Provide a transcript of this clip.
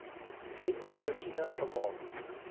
wet voorsiening gemaak